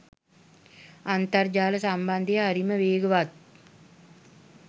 අන්තර් ජාල සම්බන්ධය හ‍රිම වේගවත්